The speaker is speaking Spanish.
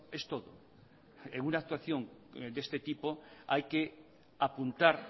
es todo en una actuación de este tipo hay que apuntar